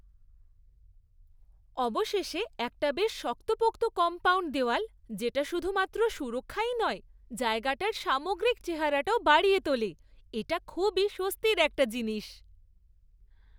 অবশেষে একটা বেশ শক্তপোক্ত কম্পাউণ্ড দেওয়াল যেটা শুধুমাত্র সুরক্ষাই নয় জায়গাটার সামগ্রিক চেহারাটাও বাড়িয়ে তোলে, এটা খুবই স্বস্তির একটা জিনিস।